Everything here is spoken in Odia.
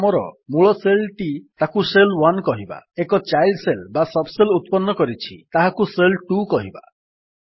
ଏବେ ଆମର ମୂଳ ଶେଲ୍ ଟି ତାକୁ ଶେଲ୍ 1 କହିବା ଏକ ଚାଇଲ୍ଡ ଶେଲ୍ ବା ସବ୍ ଶେଲ୍ ଉତ୍ପନ୍ନ କରିଛି ତାହାକୁ ଶେଲ୍ 2 କହିବା